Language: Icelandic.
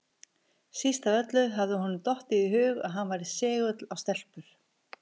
Síst af öllu hafði honum dottið í hug að hann væri segull á stelpur!